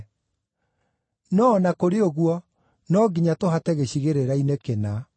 No o na kũrĩ ũguo no nginya tũhate gĩcigĩrĩra-inĩ kĩna.”